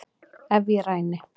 Ef ég ræni